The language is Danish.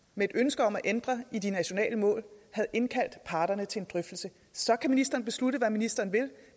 med et ønske om at ændre i de nationale mål havde indkaldt parterne til en drøftelse så kan ministeren beslutte hvad ministeren vil